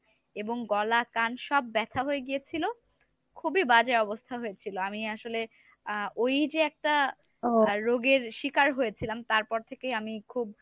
এবং গলা, কান সব ব্যাথা হয়ে গিয়েছিল খুবই বাজে অবস্থা হয়েছেল আমি আসলে আহ ঐ যে একটা রোগের শিকার হয়েছিলাম তারপর থেকেই আমি খুব